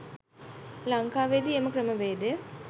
ලංකාවේ දී එම ක්‍රමවේදය